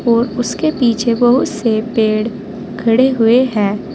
और उसके पीछे बहुत से पेड़ खड़े हुए हैं।